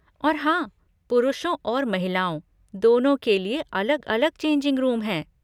और हाँ, पुरुषों और महिलाओं, दोनों के लिए अलग अलग चेंजिंग रूम हैं।